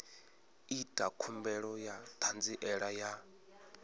ita khumbelo ya ṱhanziela ya